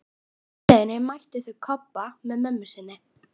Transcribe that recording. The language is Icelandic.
Á heimleiðinni mættu þau Kobba með mömmu sinni.